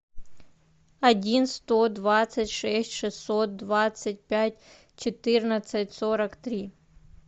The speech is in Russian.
один сто двадцать шесть шестьсот двадцать пять четырнадцать сорок три